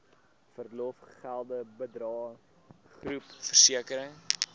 verlofgelde bydrae groepversekering